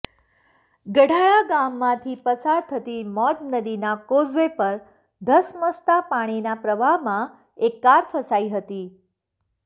ગઢાળા ગામમાંથી પસાર થતી મોજ નદીના કોઝવે પર ધસમસતા પાણીના પ્રવાહમાં એક કાર ફસાઇ હતી